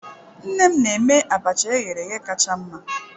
Nne m na-eme abacha eghereghe kacha mma.